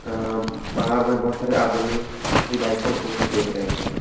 हां बाहर में बहुत सारे आदमी भी बाईकों को देख रहे हैं।